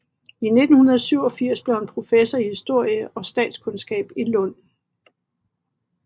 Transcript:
I 1887 blev han professor i historie og statskundskab i Lund